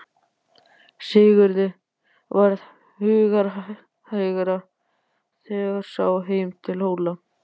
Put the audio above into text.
Sigurði varð hugarhægra þegar sá heim til Hóla.